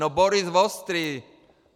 No Boris Vostrý.